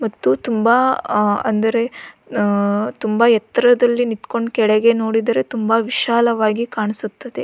ಮತ್ತು ತುಂಬಾ ಅಂದರೆ ತುಂಬಾ ಎತ್ತರದಲ್ಲಿ ನಿಂತುಕೊಂಡು ಕೆಳಗೆ ನೋಡಿದರೆ ತುಂಬಾ ವಿಶಾಲವಾಗಿ ಕಾಣಿಸುತ್ತದೆ.